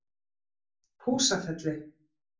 Húsafelli